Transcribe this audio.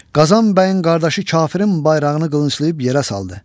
Qazan bəyin qardaşı kafirin bayrağını qılınclayıb yerə saldı.